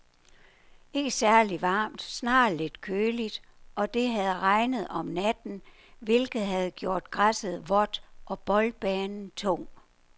Ikke særligt varmt, snarere lidt køligt, og det havde regnet om natten, hvilket havde gjort græsset vådt og boldbanen tung.